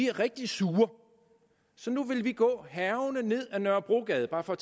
er rigtig sure så nu vil de gå hærgende ned ad nørrebrogade bare for